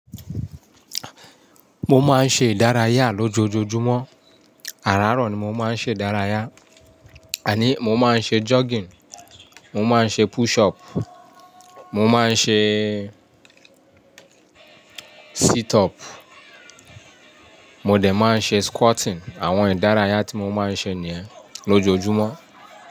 Mo máa ń ṣe ìdárayá lójoojúmọ́, àràárọ̀ ni mo máa ń ṣe ìdárayá. Àní mo máa ń ṣe jogging, mo máa ń ṣe push up, mo máa ń ṣe sit up, mo dè máa ń ṣe squatting àwọn ìdárayá tí mo máa ń ṣe ni yẹn lójoojúmọ́.